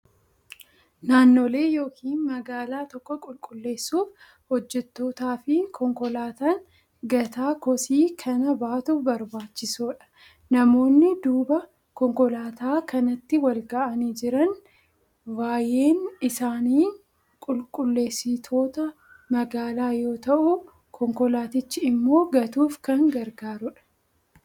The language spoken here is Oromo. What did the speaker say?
Naannolee yookiin magaalaa tokko qulqulleessuuf hojjettootaa fi konkolaataan gataa kosii kana baatu barbaachisoodha. Namoonni duuba konkolaataa kanaatti wal ga'anii jiran vaay'een isaanii qulqulleessitoita magaalaa yoo ta'u, konkolaatichi immoo gatuuf kan gargaarudha.